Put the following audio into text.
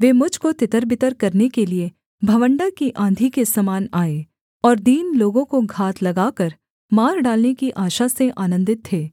वे मुझ को तितरबितर करने के लिये बवंडर की आँधी के समान आए और दीन लोगों को घात लगाकर मार डालने की आशा से आनन्दित थे